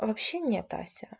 вообще нет ася